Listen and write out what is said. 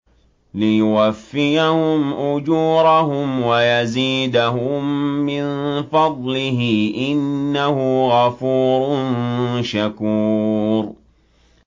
لِيُوَفِّيَهُمْ أُجُورَهُمْ وَيَزِيدَهُم مِّن فَضْلِهِ ۚ إِنَّهُ غَفُورٌ شَكُورٌ